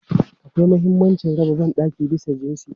Akwai mahimmancin raba ban ɗaki bisa jinsi.